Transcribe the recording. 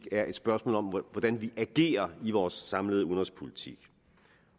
er et spørgsmål om hvordan vi agerer i vores samlede udenrigspolitik